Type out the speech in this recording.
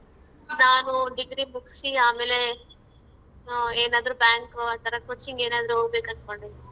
ನಾನು degree ಮುಗ್ಸಿ ಆಮೇಲೆ ಏನಾದ್ರೂ bank ಆತರ coaching ಏನಾದ್ರೂ ಹೋಗ್ಬೇಕ್ ಅನ್ಕೊಂಡಿದಿನಿ.